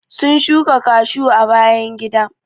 sun shuka cashew a bayan gida.